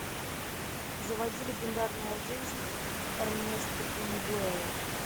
заводи легендарная жизнь эрнеста хемингуэя